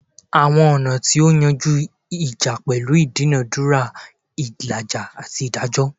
Awọn ọna ti o yanju ija pẹlu idunadura, ilaja, ati idajọ